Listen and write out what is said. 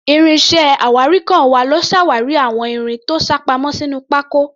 Ìrìn iṣẹ́ awárinkàn wa ló ṣàwárí àwọn irin tó sápamọ́ sínú pákó.